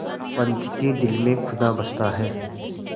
पंच के दिल में खुदा बसता है